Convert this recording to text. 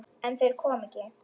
En þeir koma ekki.